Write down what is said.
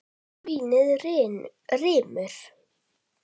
Svínið rymur.